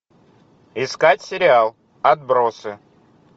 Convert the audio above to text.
искать сериал отбросы